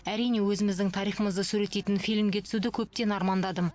әрине өзіміздің тарихымызды суреттейтін фильмге түсуді көптен армандадым